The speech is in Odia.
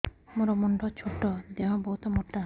ମୋର ମୁଣ୍ଡ ଛୋଟ ଦେହ ବହୁତ ମୋଟା